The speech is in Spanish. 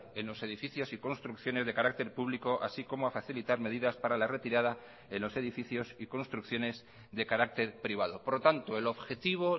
en los edificios y construcciones de carácter público así como a facilitar medidas para la retirada en los edificios y construcciones de carácter privado por lo tanto el objetivo